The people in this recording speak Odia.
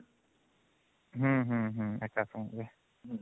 ହୁଁ ହୁଁ ହୁଁ ଏକା ସାଙ୍ଗରେ